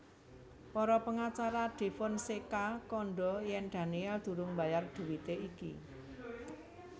Para pengacara Defonseca kandha yèn Daniel durung mbayar dhuwité iki